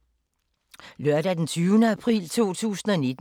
Lørdag d. 20. april 2019